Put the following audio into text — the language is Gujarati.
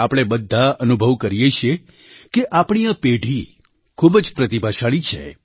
આપણે બધાં અનુભવ કરીએ છીએ કે આપણી આ પેઢી ખૂબ જ પ્રતિભાશાળી છે